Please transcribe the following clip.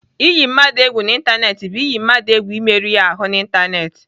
Iyi mmadụ egwu n'Ịntanetị bụ iyi mmadụ egwu imerụ ya ahụ n'Ịntanetị.